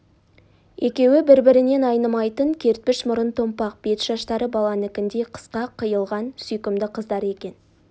екеуі бір-бірінен айнымайтын кертпіш мұрын томпақ бет шаштары баланікіндей қысқа қиылған сүйкімді қыздар екен